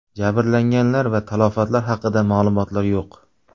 Jabrlanganlar va talafotlar haqida ma’lumotlar yo‘q.